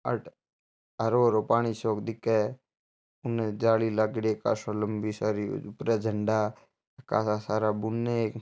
अट्ठ हरो हरो पानी सो क दिखे है के उन जाली लागेड़ी है कासा लम्बी सारी ऊपर झंडा कासा सारा बुन एक --